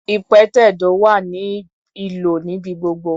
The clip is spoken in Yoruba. Ìpẹ̀tẹ̀do wá ní ìlò níbi gbogbo.